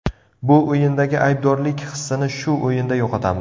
Bu o‘yindagi aybdorlik hissini shu o‘yinda yo‘qotamiz.